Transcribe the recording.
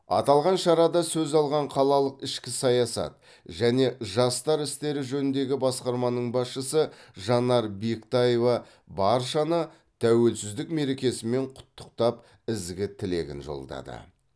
аталған шарада сөз алған қалалық ішкі саясат және жастар істері жөніндегі басқарманың басшысы жанар бектаева баршаны тәуелсіздік мерекесімен құттықтап ізгі тілегін жолдады